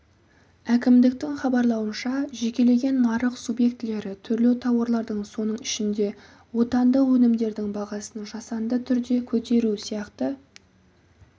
әкімдіктің хабарлауынша жекелеген нарық субъектілері түрлі тауарлардың соның ішінде отандық өнімдердің бағасын жасанды түрде көтеру сияқты